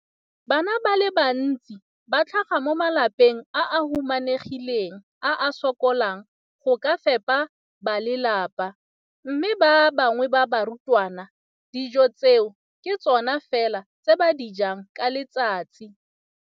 Bana ba le bantsi ba tlhaga mo malapeng a a humanegileng a a sokolang go ka fepa ba lelapa mme ba bangwe ba barutwana, dijo tseo ke tsona fela tse ba di jang ka letsatsi.